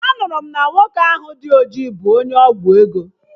Anụrụ m na nwoke ahụ dị ojii bụ onye ọgwụ ego